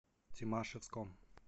тимашевском